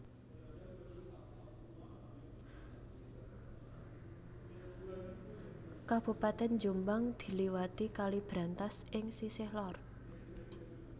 Kabupatèn Jombang diliwati Kali Brantas ing sisih lor